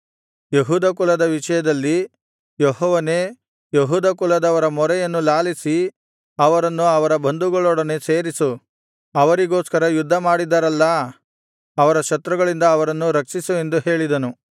ಯೆಹೂದ ಕುಲದ ವಿಷಯದಲ್ಲಿ ಯೆಹೋವನೇ ಯೆಹೂದ ಕುಲದವರ ಮೊರೆಯನ್ನು ಲಾಲಿಸಿ ಅವರನ್ನು ಅವರ ಬಂಧುಗಳೊಡನೆ ಸೇರಿಸು ಅವರಿಗೋಸ್ಕರ ಯುದ್ಧಮಾಡಿದರಲ್ಲಾ ಅವರ ಶತ್ರುಗಳಿಂದ ಅವರನ್ನು ರಕ್ಷಿಸು ಎಂದು ಹೇಳಿದನು